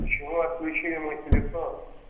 почему отключили мой телефон